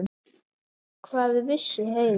Hvað vissi Heiða?